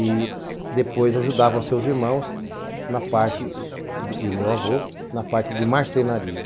E depois ajudava os seus irmãos na parte de, e meu avô, na parte de marcenaria.